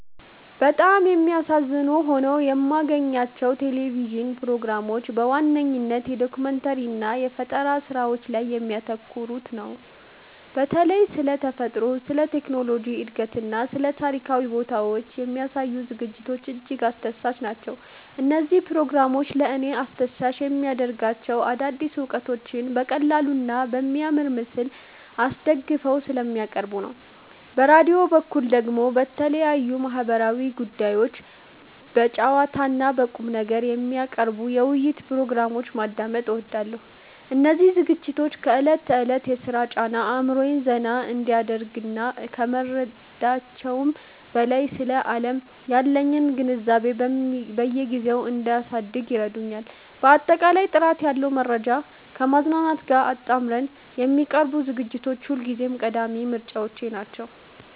በጣም የሚያዝናኑ ሆነው የማገኛቸው የቴሌቪዥን ፕሮግራሞች በዋነኝነት የዶኩመንተሪ እና የፈጠራ ስራዎች ላይ የሚያተኩሩትን ነው። በተለይም ስለ ተፈጥሮ፣ ስለ ቴክኖሎጂ እድገትና ስለ ታሪካዊ ቦታዎች የሚያሳዩ ዝግጅቶች እጅግ አስደሳች ናቸው። እነዚህ ፕሮግራሞች ለእኔ አስደሳች የሚያደርጋቸው አዳዲስ እውቀቶችን በቀላሉና በሚያምር ምስል አስደግፈው ስለሚያቀርቡ ነው። በራዲዮ በኩል ደግሞ የተለያዩ ማህበራዊ ጉዳዮችን በጨዋታና በቁምነገር የሚያቀርቡ የውይይት ፕሮግራሞችን ማዳመጥ እወዳለሁ። እነዚህ ዝግጅቶች ከዕለት ተዕለት የሥራ ጫና አእምሮዬን ዘና እንዲያደርግ ከመርዳታቸውም በላይ፣ ስለ ዓለም ያለኝን ግንዛቤ በየጊዜው እንዳሳድግ ይረዱኛል። ባጠቃላይ ጥራት ያለው መረጃን ከማዝናናት ጋር አጣምረው የሚያቀርቡ ዝግጅቶች ሁልጊዜም ቀዳሚ ምርጫዎቼ ናቸው።